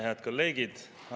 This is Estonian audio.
Head kolleegid!